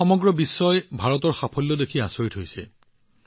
আজি সমগ্ৰ বিশ্বই ভাৰতৰ সাফল্য দেখি আচৰিত হৈছে